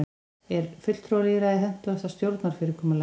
er fulltrúalýðræði hentugasta stjórnarfyrirkomulagið